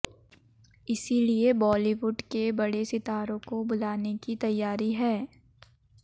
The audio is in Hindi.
इसलिए बॉलीवुड के बड़े सितारों को बुलाने की तैयारी है